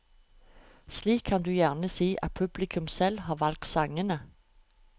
Slik kan du gjerne si at publikum selv har valgt sangene.